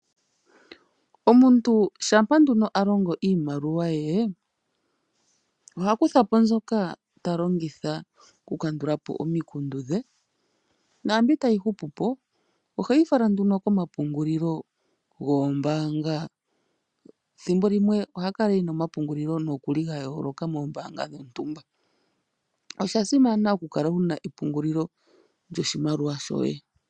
Omuntu shampa nduno alongo iimaliwa ye oha kuthapo mbyoka talongitha okukandulapo omikundu dhe naambi tayi hupupo oheyi fala nduno komapungulilo goombaanga. Ethimbolimwe oha kala ena omapungulilo nokuli ga holoka moombanga dhontumba. Oshasimana okukala wuna epungulilo lyoshimaliwa shoye..